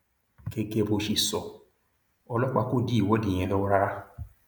gẹgẹ bó ṣe sọ ọlọpàá kò dí ìwọde yẹn lọwọ rárá